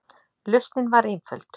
Lausnin var einföld.